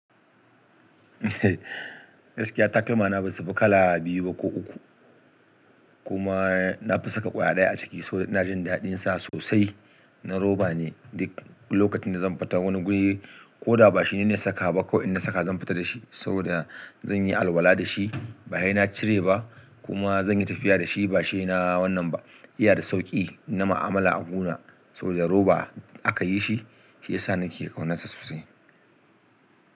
Gaskiya takalma na bai samu kala biyu ba ko uku. Kuma nafi saka daya a cikinsu saboda ina jin dadin sa sosai na roba ne, duk lokacin da zan fita wani guri ko da ba shi nayi niyyar sakawa ba, kawai in na saka zan fita da shi. Saboda zan yi alwala da shi, ba he na cire ba kuma zanyi tafiya da shi ba shi na wannan ba, iya da sauƙi na ma'amala a guna. Saboda roba aka yi shi, shi ya sa na ke kaunar sa sosai.